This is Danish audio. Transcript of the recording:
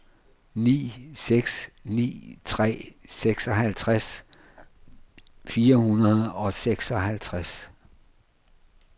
ni seks ni tre seksoghalvtreds fire hundrede og seksoghalvtreds